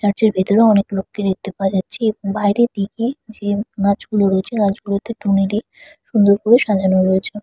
Church -এ ভেতরে অনেক লোককে দেখতে পাওয়া যাচ্ছে এবং বাইরে দিকে যে গাছগুলো রয়েছে গাছগুলো টুনি দিয়ে সুন্দর করে সাজানো রয়েছে ।